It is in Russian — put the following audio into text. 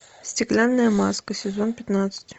стеклянная маска сезон пятнадцать